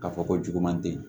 Ka fɔ ko juguman te ye